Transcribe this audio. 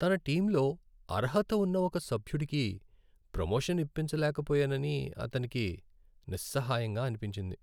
తన టీమ్లో అర్హత ఉన్న ఒక సభ్యుడికి ప్రొమోషన్ ఇప్పించలేకపోయానని అతనికి నిస్సహాయంగా అనిపించింది.